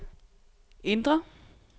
indre